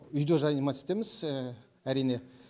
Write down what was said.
үйде заниматься етеміз әрине